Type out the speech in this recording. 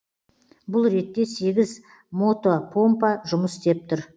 бұл ретте сегіз мотопомпа жұмыс істеп тұр